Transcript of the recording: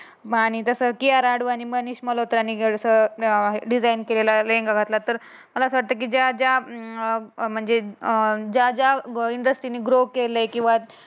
बाळाने कसं K R आडू आणि मनीष मनोत्राने घडस मिळाला. डिझाईन केलेला लेंगा घातला तर मला असं वाटते की ज्या ज्या अं म्हणज अं ज्या ज्या इंडस्ट्रियल ग्रो केले किंवा